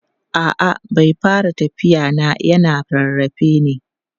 a'a bai fara tafiya na yana rarrafe ne